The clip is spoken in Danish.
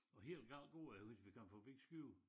Og helt galt går det jo hvis vi kommer forbi Skive